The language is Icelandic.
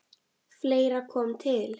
Fleira kom til.